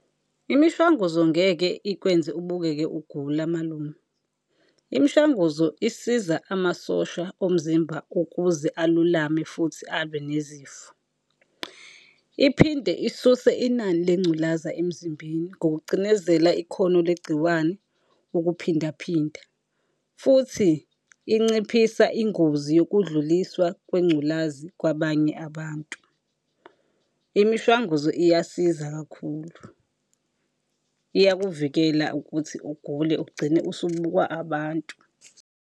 Imishwanguzo ngeke ikwenze ubukeke ugula malume, imishanguzo isiza amasosha omzimba ukuze alulame futhi alwe nezifo. Iphinde isuse inani lengculaza emzimbeni ngokucinezela ikhono legciwane ukuphinda phinda, futhi inciphisa ingozi yokudluliswa kwengculazi kwabanye abantu. Imishwanguzo iyasiza kakhulu, iyakuvikela ukuthi ugule ugcine usubukwa abantu.